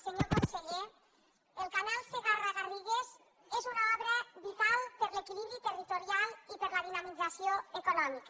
senyor conseller el canal segarra garrigues és una obra vital per a l’equilibri territorial i per a la dinamització econòmica